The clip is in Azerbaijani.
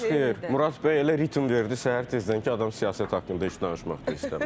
Murad bəy elə ritm verdi səhər tezdən ki, adam siyasət haqqında heç danışmaq da istəmir.